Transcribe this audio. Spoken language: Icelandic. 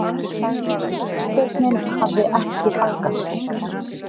Legsteinninn hafði ekki haggast.